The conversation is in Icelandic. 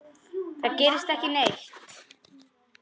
Það gerist ekki neitt.